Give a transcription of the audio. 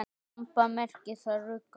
Ramba merkir þar rugga.